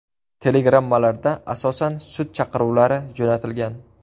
Telegrammalarda asosan sud chaqiruvlari jo‘natilgan.